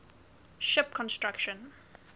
ship construction